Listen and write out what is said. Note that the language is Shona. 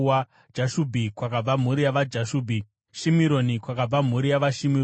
Jashubhi kwakabva mhuri yavaJashubhi; Shimironi kwakabva mhuri yavaShimironi.